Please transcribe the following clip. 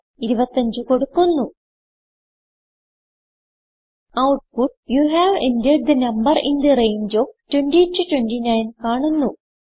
25 കൊടുക്കുന്നു output you have entered the number in the range of 20 29 കാണുന്നു